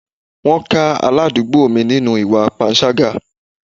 Wọ́n ká aládùúgbò mi nínú ìwà panṣágà.